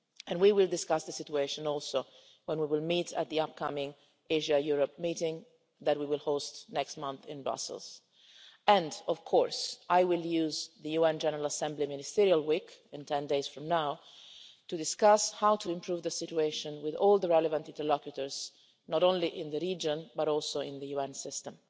We will also discuss the situation when we meet at the upcoming Asia Europe meeting that we will host next month in Brussels, and of course I will use the UN General Assembly Ministerial Week 10 days from now to discuss how to improve the situation with all the relevant interlocutors, not only in the region, but also in the UN system.